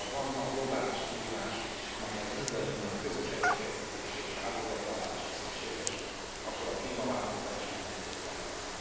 Ha van ma globális kihívás, amelyhez mindannyiunk közös erőfeszítése és áldozatvállalása szükséges, akkor a klímaváltozás mindenképpen az.